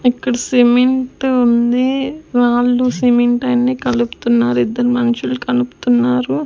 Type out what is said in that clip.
ఇక్కడ సిమెంటు ఉంది రాళ్లు సిమెంటు అన్నీ కలుపుతున్నారు ఇద్దరు మనుషులు కలుపుతున్నారు.